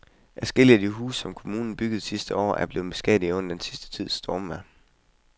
Adskillige af de huse, som kommunen byggede sidste år, er blevet beskadiget under den sidste tids stormvejr.